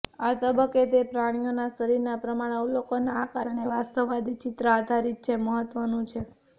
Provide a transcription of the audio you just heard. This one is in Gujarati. આ તબક્કે તે પ્રાણીઓના શરીરના પ્રમાણ અવલોકન આ કારણે વાસ્તવવાદી ચિત્ર આધારિત છે મહત્વનું છે